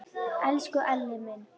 Elsku Elli minn.